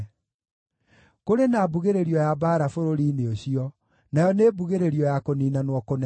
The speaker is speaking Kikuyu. Kũrĩ na mbugĩrĩrio ya mbaara bũrũri-inĩ ũcio, nayo nĩ mbugĩrĩrio ya kũniinanwo kũnene!